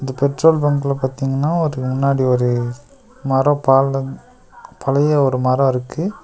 இந்த பெட்ரோல் பங்க்ல பாத்தீங்னா ஒரு முன்னாடி ஒரு மரோ பாலன் பழைய ஒரு மரோ இருக்கு.